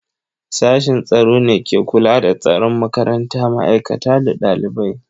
Sashin tsaro ne ke kula da tsaron makaranta, ma'aikata da ɗalibai.